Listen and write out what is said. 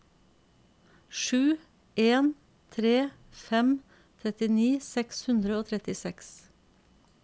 sju en tre fem trettini seks hundre og trettiseks